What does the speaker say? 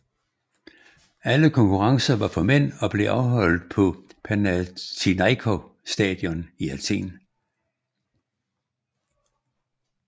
Alle konkurrencer var for mænd og blev afholdt på Panathinaiko Stadion i Athen